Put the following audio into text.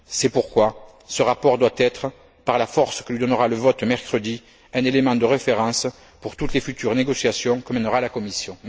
C'est pourquoi ce rapport doit être, par la force que lui donnera le vote mercredi, un élément de référence pour toutes les futures négociations que mènera la Commission.